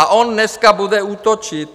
A on dneska bude útočit!